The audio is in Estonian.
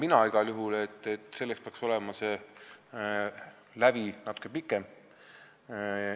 Mina arvan igal juhul, et selleks peaks olema see aeg natuke pikem.